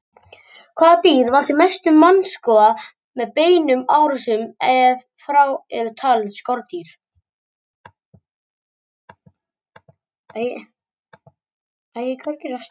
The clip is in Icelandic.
Hvaða dýr valda mestum mannskaða með beinum árásum, ef frá eru talin skordýr?